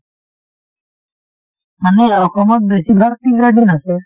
মানে অসমত বেছিভাগ tea garden আছে।